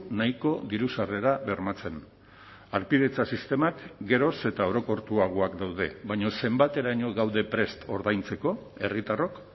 nahiko diru sarrera bermatzen harpidetza sistemak geroz eta orokortuagoak daude baina zenbateraino gaude prest ordaintzeko herritarrok